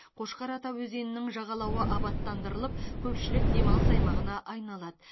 қошқар ата өзенінің жағалауы абаттандырылып көпшілік демалыс аймағына айналады